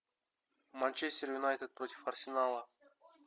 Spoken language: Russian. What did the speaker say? манчестер юнайтед против арсенала